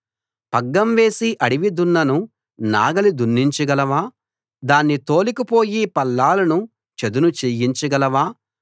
పగ్గం వేసి అడివి దున్నను నాగలి దున్నించ గలవా దాన్ని తోలుకుపోయి పల్లాలను చదును చేయించగలవా